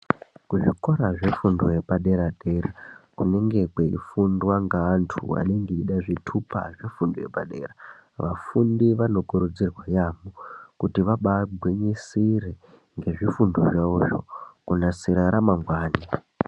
Kuzvikora zvefundo yepadera-dera kunenge kweifundwa ngaantu anenge eida zvitupa zvefundo yepadera. Vafundi vanokurudzirwa yaambo kuti vabagwinyisire ngezvifundo zvavozvo kunasira ramangwani.